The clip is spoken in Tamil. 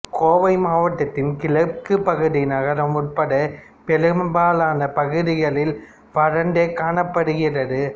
கோவை மாவட்டத்தின் கிழக்குப் பகுதி நகரம் உட்பட பெரும்பாலான பகுதிகளில் வறண்டு காணப்படுகிறது